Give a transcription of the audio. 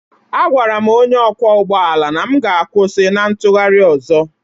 Agwara m onye ọkwọ ụgbọ ala na m ga-akwụsị na ntụgharị ọzọ.